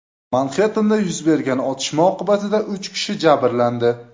Manxettenda yuz bergan otishma oqibatida uch kishi jabrlandi.